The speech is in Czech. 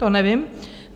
To nevím.